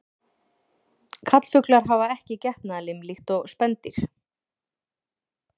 Karlfuglar hafa ekki getnaðarlim líkt og spendýr.